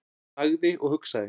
Hann þagði og hugsaði.